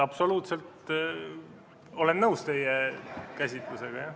Absoluutselt olen nõus teie käsitlusega, jah.